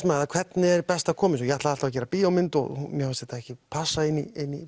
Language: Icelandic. með það hvernig er best að koma þessu ég ætlaði alltaf að gera bíómynd og mér fannst þetta ekki passa inn í